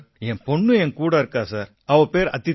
என் பொண்ணும் என் கூட இருக்கா சார் அவ பேரு அதிதி